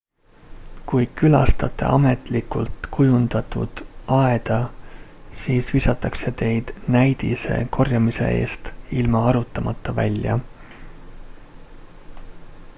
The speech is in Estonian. "kui külastate ametlikult kujundatud aeda siis visatakse teid "näidise" korjamise eest ilma arutamata välja.